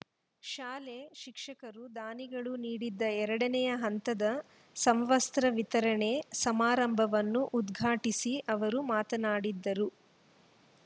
ಶಾಲೆ ಶಿಕ್ಷಕರು ದಾನಿಗಳು ನೀಡಿದ ಎರಡನೇ ಹಂತದ ಸಮವಸ್ತ್ರ ವಿತರಣೆ ಸಮಾರಂಭವನ್ನು ಉದ್ಘಾಟಿಸಿ ಅವರು ಮಾತನಾಡಿದರು